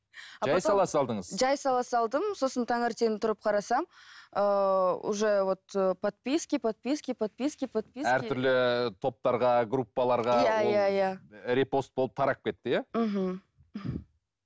жай сала салдым сосын таңертең тұрып қарасам ыыы уже вот подписки подписки подписки подписки әртүрлі топтарға группаларға иә иә иә ол репост болып тарап кетті иә мхм